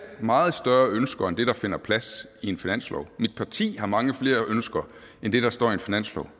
meget større ønsker end det der finder plads i en finanslov mit parti har mange flere ønsker end det der står i en finanslov